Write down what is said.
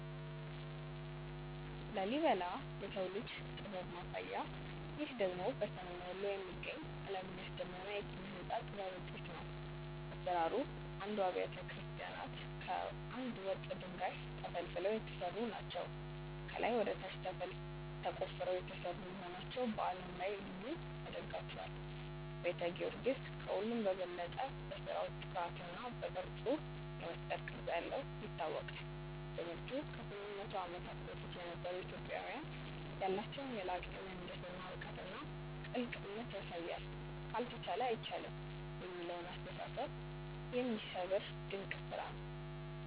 ላሊበላ (Lalibela) - "የሰው ልጅ ጥበብ ማሳያ" ይህ ደግሞ በሰሜን ወሎ የሚገኝ፣ ዓለምን ያስደመመ የኪነ-ሕንጻ ጥበብ ውጤት ነው። አሰራሩ፦ አሥራ አንዱም አብያተ ክርስቲያናት ከአንድ ወጥ ድንጋይ (Monolithic) ተፈልፍለው የተሰሩ ናቸው። ከላይ ወደ ታች ተቆፍረው የተሰሩ መሆናቸው በዓለም ላይ ልዩ ያደርጋቸዋል። ቤተ ጊዮርጊስ፦ ከሁሉም በበለጠ በሥራው ጥራትና በቅርጹ (የመስቀል ቅርጽ ያለው) ይታወቃል። ትምህርቱ፦ ከ800 ዓመታት በፊት የነበሩ ኢትዮጵያውያን ያላቸውን የላቀ የምህንድስና እውቀትና ጥልቅ እምነት ያሳያል። "ካልተቻለ አይቻልም" የሚለውን አስተሳሰብ የሚሰብር ድንቅ ስራ ነው።